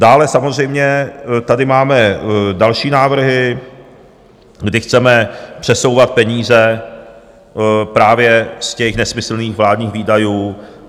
Dále samozřejmě tady máme další návrhy, kdy chceme přesouvat peníze právě z těch nesmyslných vládních výdajů.